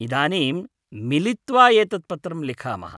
इदानीं मिलित्वा एतत् पत्रं लिखामः।